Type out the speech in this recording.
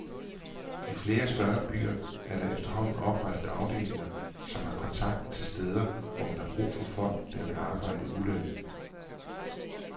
I flere større byer er der efterhånden oprettet afdelinger som har kontakt til steder, hvor man har brug for folk, der vil arbejde ulønnet.